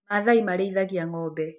Maathai marĩithagia ng'ombe.